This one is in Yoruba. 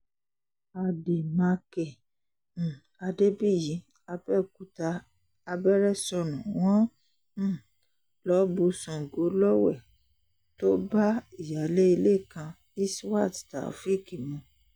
àdèmàkè um adébíyí àbẹ̀òkúta abẹ́rẹ́ sọnù wọ́n um lọ́ọ́ bu sango lọ́wẹ̀ tó bá ìyáálé ilé kan isiwát tàófẹ̀ẹ́k mu